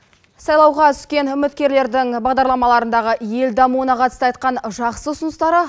сайлауға түскен үміткерлердің бағдарламаларындағы ел дамуына қатысты айтқан жақсы ұсыныстары